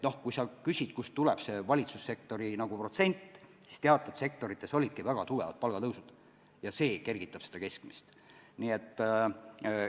Kui sa küsid, kust tuleb see valitsussektori palgatõusu protsent, siis ütlen, et teatud sektorites olidki väga tugevad palgatõusud ja see kergitab keskmist näitajat.